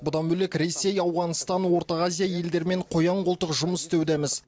бұдан бөлек ресей ауғанстан орта азия елдерімен қоян қолтық жұмыс істеудеміз